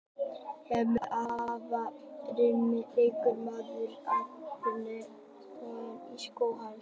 Hermann var afar marksækinn leikmaður og það var ótrúlegur töframáttur í skóm hans.